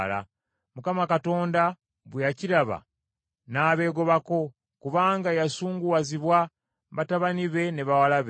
Mukama Katonda bwe yakiraba n’abeegobako kubanga yasunguwazibwa batabani be ne bawala be.